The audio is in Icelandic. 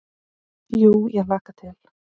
Jú ég hlakka til.